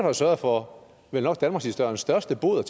at sørge for vel nok danmarkshistoriens største bod og